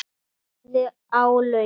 Sú sem lagði álögin?